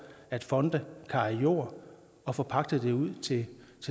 at fonde kan eje jord og forpagte den ud til